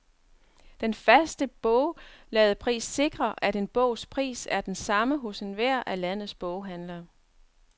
Den faste bogladepris sikrer, at en bogs pris er den samme hos enhver af landets boghandlere.